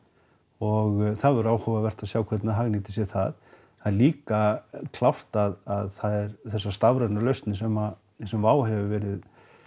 og það verður áhugavert að sjá hvernig þau hagnýta sér það það er líka klárt að það er þessar stafrænu lausnir sem sem Wow hefur verið